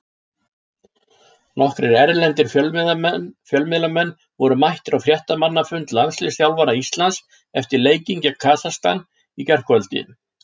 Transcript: Nokkrir erlendir fjölmiðlamenn voru mættir á fréttamannafund landsliðsþjálfara Íslands eftir leikinn gegn Kasakstan í gærkvöldi.